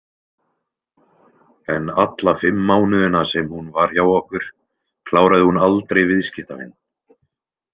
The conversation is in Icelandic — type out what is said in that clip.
En alla fimm mánuðina sem hún var hjá okkur kláraði hún aldrei viðskiptavin.